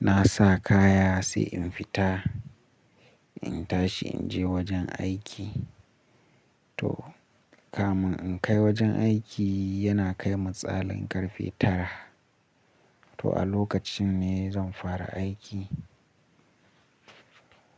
na sa kaya sai in fita. In tashi in je wajen aiki. To kamin in kai wajen aiki yana kai misalin karfe tara. To a lokacin ne zan fara aiki.